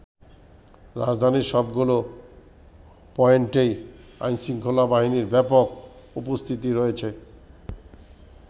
রাজধানীর সবগুলো পয়েন্টেই আইনশৃঙ্খলা বাহিনীর ব্যাপক উপস্থিতি রয়েছে।